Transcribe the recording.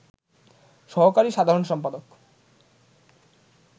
সহকারী সাধারণ সম্পাদক